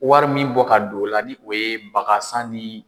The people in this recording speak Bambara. Wari min bɔ ka don o la ni o ye baga san ni